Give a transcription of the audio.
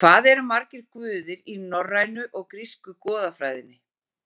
Hvað eru margir guðir í norrænu og grísku goðafræðinni?